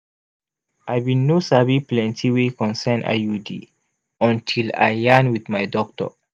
i bin no sabi plenti wey concern iud until i yarn wit my doctor